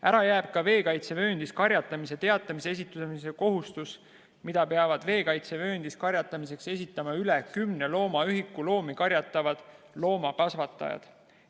Ära jääb ka veekaitsevööndis karjatamise teatise esitamise kohustus, mida peavad veekaitsevööndis karjatamiseks esitama üle kümne loomaühiku karjatavad loomakasvatajad.